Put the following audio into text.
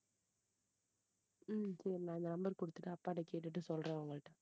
உம் சரி நான் number கொடுத்துட்டு அப்பா கிட்ட கேட்டுட்டு சொல்றேன் உங்ககிட்ட